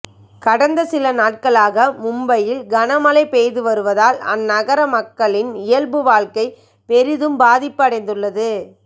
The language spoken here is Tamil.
கடந்த சிலநாட்களாக மும்பையில் கனமழை பெய்து வருவதால் அந்நகர மக்களின் இயல்பு வாழ்க்கை பெரிதும் பாதிப்பு அடைந்துள்ளது